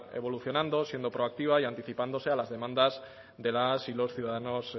evolucionando siendo proactiva y anticipándose a las demandas de las y los ciudadanos